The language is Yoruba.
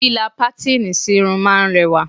Líla patini sí irun máa ń rẹwà